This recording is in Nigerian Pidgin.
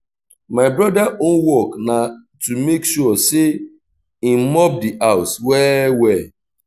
my broda own work na to mek sure say him mop the house well well